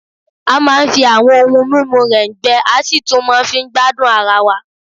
A máa ń fi àwọn ohun mímu rẹ̀ǹgbẹ, a sì tún máa fi ń gbádùn ara wa